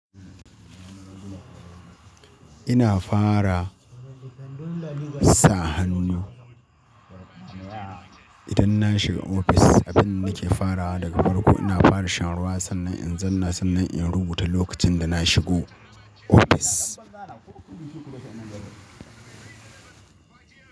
Ina fara sa hannu idan na shiga ofis a bin nake farawa daga farko. Ina fara shan ruwa sannan in zanna, sannan in rubuta lokacin da na shigo ofis.